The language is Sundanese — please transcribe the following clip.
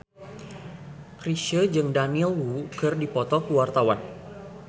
Chrisye jeung Daniel Wu keur dipoto ku wartawan